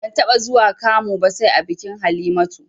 Ban taɓa zuwa kamu ba sai a bikin Halimatu